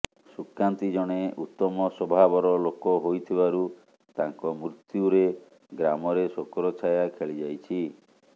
ସୁକାନ୍ତୀ ଜଣେ ଉତ୍ତମ ସ୍ୱଭାବର ଲୋକ ହୋଇଥିବାରୁ ତାଙ୍କ ମୃତ୍ୟୁରେ ଗ୍ରାମରେ ଶୋକର ଛାୟା ଖେଳିଯାଇଛି